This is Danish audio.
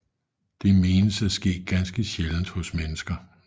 Det menes at ske ganske sjældent hos mennesker